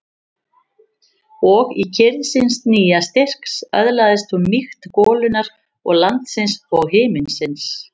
Og í kyrrð síns nýja styrks öðlaðist hún mýkt golunnar og landsins og himinsins.